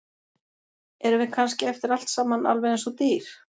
Erum við kannski eftir allt saman alveg eins og dýr?